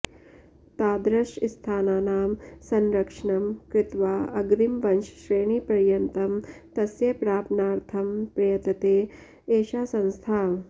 तादृशस्थानानां संरक्षणं कृत्वा अग्रिमवंशश्रेणिपर्यन्तं तस्य प्रापणार्थं प्रयतते एषा संस्था